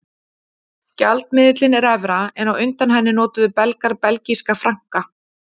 Gjaldmiðillinn er evra en á undan henni notuðu Belgar belgíska franka.